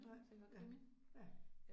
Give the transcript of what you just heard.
Nej ja ja